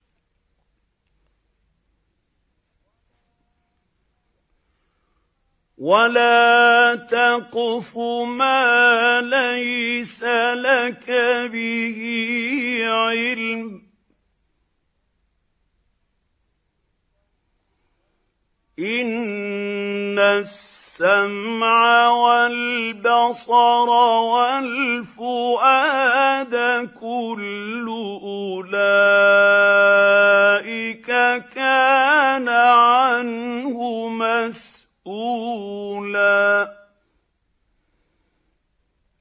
وَلَا تَقْفُ مَا لَيْسَ لَكَ بِهِ عِلْمٌ ۚ إِنَّ السَّمْعَ وَالْبَصَرَ وَالْفُؤَادَ كُلُّ أُولَٰئِكَ كَانَ عَنْهُ مَسْئُولًا